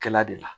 Kɛla de la